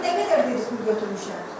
Konkret nə qədər pul götürmüşəm?